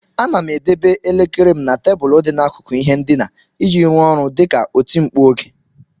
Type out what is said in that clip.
Ana m edebe elekere m na tebụl dị n'akụkụ ihe ndina iji rụọ ọrụ dị ka oti mkpu oge.